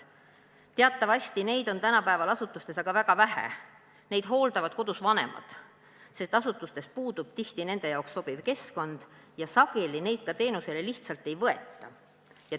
Teatavasti on neid tänapäeval asutustes aga väga vähe, neid hooldavad kodus vanemad, sest asutustes puudub tihti nende jaoks sobiv keskkond ja sageli neid teenusele lihtsalt ka ei võeta.